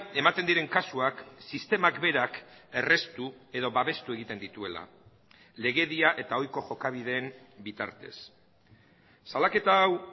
ematen diren kasuak sistemak berak erraztu edo babestu egiten dituela legedia eta ohiko jokabideen bitartez salaketa hau